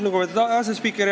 Lugupeetud asespiiker!